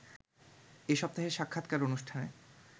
এ সপ্তাহের সাক্ষাৎকার অনুষ্ঠানে